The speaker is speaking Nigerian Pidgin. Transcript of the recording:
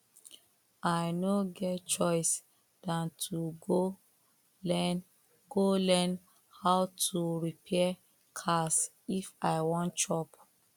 i no get choice than to go learn go learn how to repair cars if i wan chop